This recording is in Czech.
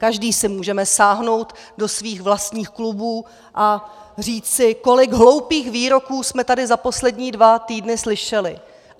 Každý si můžeme sáhnout do svých vlastních klubů a říct si, kolik hloupých výroků jsme tady za poslední dva týdny slyšeli.